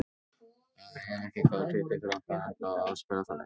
Það er ekki góður hlutur fyrir okkur að enda á að spila þannig.